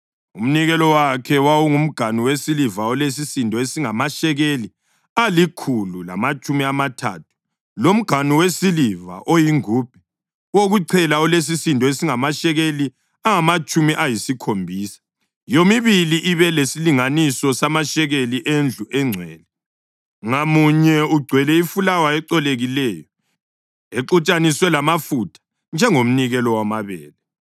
Umnikelo wakhe: wawungumganu wesiliva olesisindo esingamashekeli alikhulu lamatshumi amathathu, lomganu wesiliva oyingubhe wokuchela olesisindo esingamashekeli angamatshumi ayisikhombisa, yomibili ibe lesilinganiso samashekeli endlu engcwele, ngamunye ugcwele ifulawa ecolekileyo exutshaniswe lamafutha njengomnikelo wamabele;